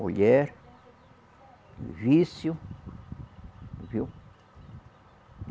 Mulher, vício, viu?